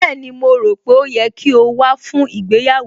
Bẹ́ẹ̀ni, mo rò pé ó yẹ kí o wá fún ìgbéyàwó